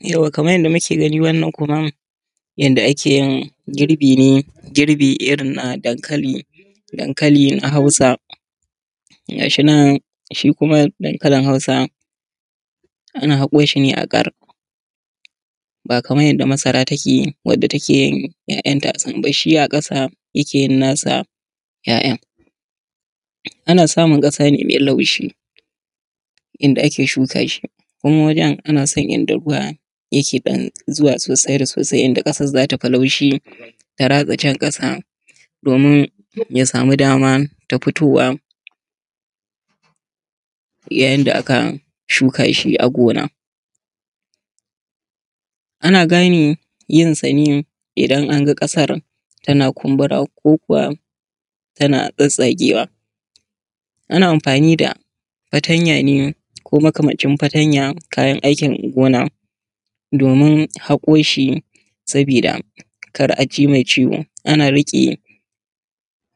Yauwa kamar yanda muke gani wannan kuma yanda ake yin girbi ne, girbe irin na dankali. Dankalin na hausa gashi nan shi kuma dankalin hausa ana haƙo shi ne a ƙar ba kamar yanda masara take, wanda take ‘ya’yanta sun bar shi a ƙasa yake yin na sa ‘ya’yan ana samu ƙasa ne mai laushi inda ake shuka shi kuma wajan ana son inda ruwa ne yake ɗan zuwa sosai da sosai, inda ƙasan za ta fi ɗan laushi ta ratsa can ƙasa domin ya samu daman tafitowa. Yayin da aka shuka shi a gona, ana gane yin sa ne idan an ga ƙasan tana kumbura, ko kuwa tana tsatstsagewa. Ana amfani da fatanya ne, ko makamancin fatanya, kayan aikin gona, domin haƙo shi. Saboda kar a ji mai ciwo ana riƙe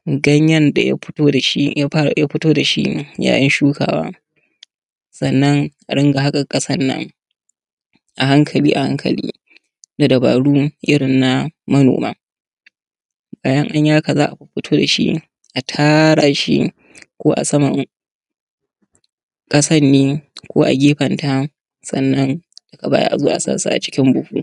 ganyan da ya fito da shi yayin shukawa, sannan a ringa haƙa ƙasana a hankali a hankali da dabaru irin na manoma. Bayan an yi haka za a fito da shi a tara shi ko a saman ƙasan ne, ko a gefanta, sannan daga baya a zo a sa su a cikin buhu.